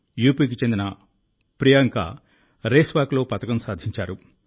యూపీకి చెందిన ప్రియాంక రేస్ వాక్లో పతకం సాధించారు